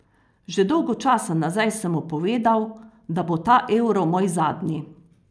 Že dolgo časa nazaj sem mu povedal, da bo ta Euro moj zadnji.